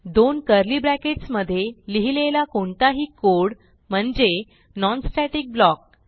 दोन curly brackets मधे लिहिलेला कोणताही कोड म्हणजे non स्टॅटिक ब्लॉक